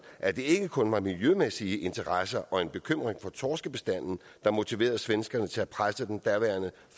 at det ikke kun var miljømæssige interesser og en bekymring for torskebestanden der motiverede svenskerne til at presse den daværende